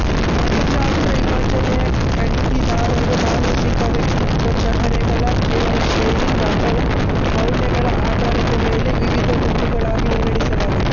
ಮನಃಶಾಸ್ತ್ರ ವಿಭಜನೆ ಖರೀದಿದಾರರು ಮಾನಸಿಕ ವ್ಯಕ್ತಿತ್ವ ಚಹರೆಗಳ ಜೀವನಶೈಲಿ ಅಥವಾ ಮೌಲ್ಯಗಳ ಆಧಾರದ ಮೇಲೆ ವಿವಿಧ ಗುಂಪುಗಳಾಗಿ ವಿಂಗಡಿಸಲಾಗಿದೆ